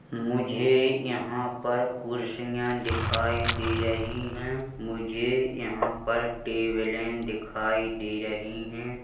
मुझे यहां पर कुरसिया दिखाय दे रही है मुझे यहां पर टेबले दिखाई दे रही है ।